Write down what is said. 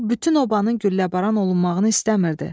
O bütün obanın gülləbaran olunmağını istəmirdi.